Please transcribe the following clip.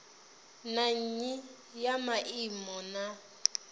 na nnyi ya maimo na